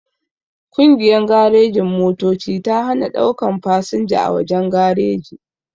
Kungiyan garejin-motoci ta hana daukan fasanja a wajen gareji